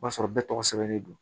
O b'a sɔrɔ bɛɛ tɔgɔ sɛbɛnnen don